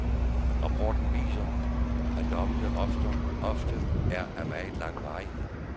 Rapporten viser, at dommene ofte er af meget lang varighed.